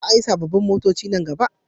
Za a yi sabobbin motoci nan gaba